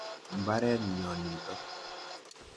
Imbaret nyo nitok.